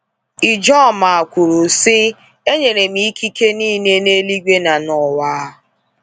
Ijoma kwuru sị: e nyere m ikike niile n’eluigwe na n’ụwa.”